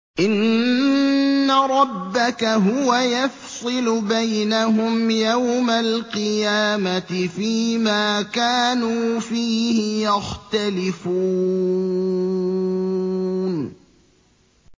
إِنَّ رَبَّكَ هُوَ يَفْصِلُ بَيْنَهُمْ يَوْمَ الْقِيَامَةِ فِيمَا كَانُوا فِيهِ يَخْتَلِفُونَ